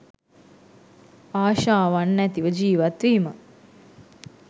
ආශාවන් නැතිව ජීවත්වීම